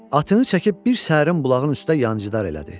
Atını çəkib bir səhərin bulağın üstə yancidar elədi.